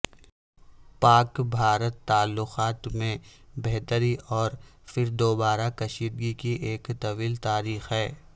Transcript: پاک بھارت تعلقات میں بہتری اور پھر دوبارہ کشیدگی کی ایک طویل تاریخ ہے